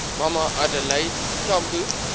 mama adelaide tambo